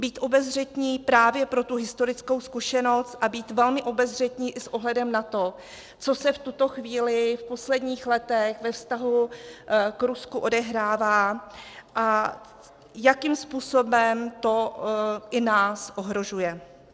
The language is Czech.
Být obezřetní právě pro tu historickou zkušenost a být velmi obezřetní i s ohledem na to, co se v tuto chvíli v posledních letech ve vztahu k Rusku odehrává a jakým způsobem to i nás ohrožuje.